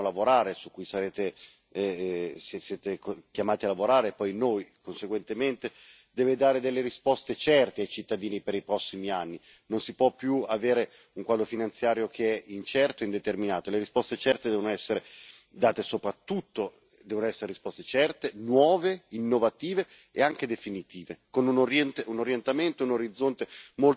Il prossimo quadro finanziario su cui dovremo lavorare, su cui siete chiamati a lavorare e poi noi, conseguentemente deve dare delle risposte certe ai cittadini per i prossimi anni. Non si può più avere un quadro finanziario che è incerto e indeterminato. Devono essere date risposte certe, soprattutto devono essere risposte certe, nuove, innovative e anche definitive, con